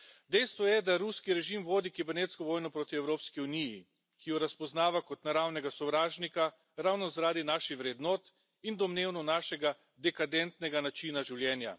Dejstvo je, da ruski režim vodi kibernetsko vojno proti Evropski uniji, ki jo razpoznava kot naravnega sovražnika ravno zaradi naših vrednot in domnevno našega dekadentnega načina življenja.